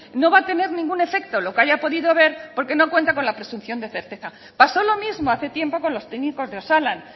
no va a tener ningún efecto lo que haya podido ver porque no cuenta con la presunción de certeza pasó lo mismo hace tiempo con los técnicos de osalan